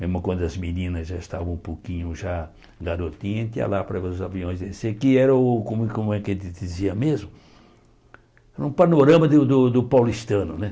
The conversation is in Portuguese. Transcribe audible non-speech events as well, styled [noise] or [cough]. Mesmo quando as meninas já estavam um pouquinho já garotinhas, [unintelligible] lá para ver os aviões descer, que era o, como é que a gente dizia mesmo, era um panorama do do do paulistano, né?